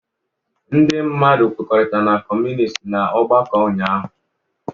Ndị mmadụ kwekọrịtara na Kọmunist n'ọgbakọ ụnyahụ